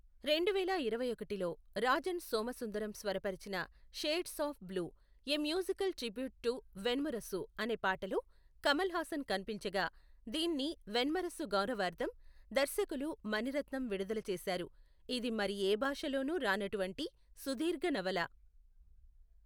రెండువేల ఇరవై ఒకటిలో, రాజన్ సోమసుందరం స్వరపరిచిన shades of blue, a musical tribute to Venmurasu అనే పాటలో కమల్ హాసన్ కనిపించగా, దీన్ని వెన్మురసు గౌరవార్ధం దర్శకులు మణి రత్నం విడుదల చేశారు, ఇది మరి యే భాషలోనూ రానటువంటి సుదీర్ఘ నవల.